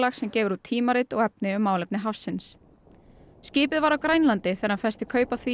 sem gefur út tímarit og efni um málefni hafsins skipið var á Grænlandi þegar hann festi kaup á því